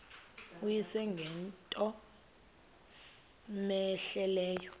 uyise ngento cmehleleyo